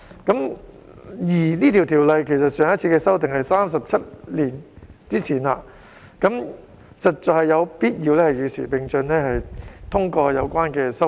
有關的條例對上一次修訂已是37年前，我們實在有必要與時並進，通過相關修訂。